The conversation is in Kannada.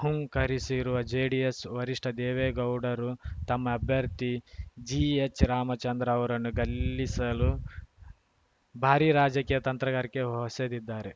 ಹೂಂಕರಿಸಿರುವ ಜೆಡಿಎಸ್‌ ವರಿಷ್ಠ ದೇವೇಗೌಡರು ತಮ್ಮ ಅಭ್ಯರ್ಥಿ ಜಿಎಚ್‌ರಾಮಚಂದ್ರ ಅವರನ್ನು ಗಲ್ಲಿಸಲು ಭಾರಿ ರಾಜಕೀಯ ತಂತ್ರಗಾರಿಕೆ ಹೊಸೆದಿದ್ದಾರೆ